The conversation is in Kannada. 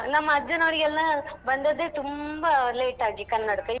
ನಮ್ಮ ಅಜ್ಜನವರಿಗೆಲ್ಲಾ ಬಂದದ್ದೇ ತುಂಬಾ late ಆಗಿ ಕನ್ನಡಕ.